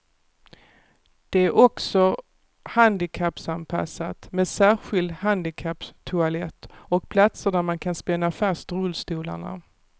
Det är också handikappanpassat med särskild handikapptoalett och platser där man kan spänna fast rullstolarna.